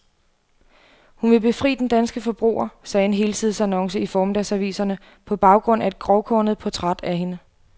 Hun vil befri den danske forbruger, sagde en helsidesannonce i formiddagsaviserne, på baggrund af et grovkornet portræt af hende.